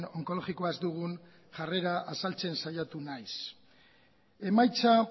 onkologikoa ez dugun jarrera azaltzen saiatu naiz emaitza